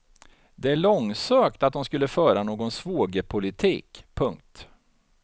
Det är långsökt att dom skulle föra någon svågerpolitik. punkt